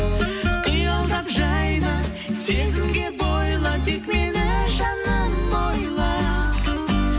қиялдап жайна сезімге бойла тек мені жаным ойла